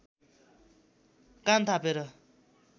कान थापेर